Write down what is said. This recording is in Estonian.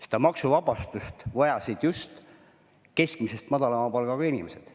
Seda maksuvabastust vajasid just keskmisest madalama palgaga inimesed.